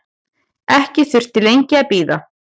Ekki þurfti lengi að bíða.